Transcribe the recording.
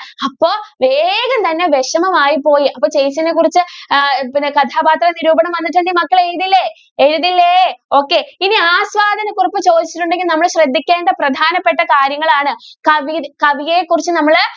അപ്പോ വേഗം തന്നെ വിഷമം ആയിപോയി അപ്പൊ ചേച്ചീനെ കുറിച്ച് കഥാപാത്ര നിരൂപണം വന്നിട്ടുണ്ടെങ്കിൽ മക്കൾ എഴുതില്ലേ എഴുതില്ലേ okay ഇനി ആസ്വാദന കുറിപ്പ് ചോദിച്ചിട്ടുണ്ടെങ്കിൽ നമ്മൾ ശ്രെദ്ധിക്കേണ്ട പ്രധാനപ്പെട്ട കാര്യങ്ങൾ ആണ് കവി~കവിയെ കുറിച്ച് നമ്മൾ